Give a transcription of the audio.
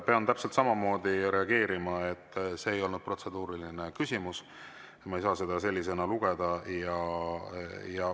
Pean täpselt samamoodi reageerima, et see ei olnud protseduuriline küsimus ja ma ei saa seda selleks lugeda.